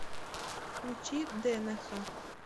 включи дэнэха